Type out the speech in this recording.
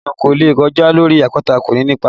Ejò kò lè kọjá lórí àpáta kó ni ipa